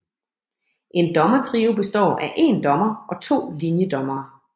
En dommertrio består af én dommer og to linjedommere